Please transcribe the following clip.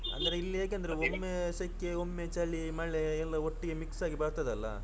ಅಂದ್ರೆ ಇಲ್ಲಿ ಹೇಗೇಂದ್ರೆ ಒಮ್ಮೆ ಸೆಕೆ ಒಮ್ಮೆ ಚಳಿ ಮಳೆ ಎಲ್ಲಾ ಒಟ್ಗೆ mix ಆಗಿ ಬರ್ತದೇ ಅಲ್ಲಾ.